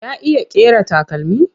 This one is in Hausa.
Ya iya ƙera takalmi?